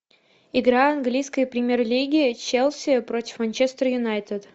игра английской премьер лиги челси против манчестер юнайтед